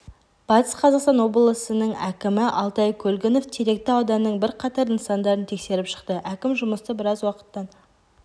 батыс қазақстан облысының әкімі алтай көлгінов теректі ауданының бірқатар нысандарын тексеріп шықты әкім жұмысты біраз уақыттан